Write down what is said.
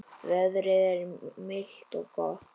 Veðrið er milt og gott.